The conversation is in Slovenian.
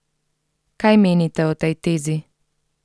Kaj menite o tej tezi?